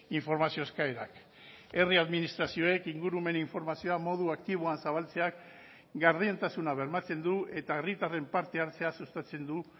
informazio eskaerak herri administrazioek ingurumen informazioa modu aktiboan zabaltzeak gardentasuna bermatzen du eta herritarren parte hartzea sustatzen du